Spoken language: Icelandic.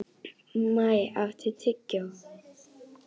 Maj, áttu tyggjó?